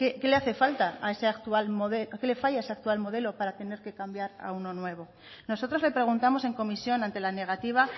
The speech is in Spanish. qué le falla a este actual modelo para tener que cambiar a uno nuevo nosotros le preguntamos en comisión ante la negativa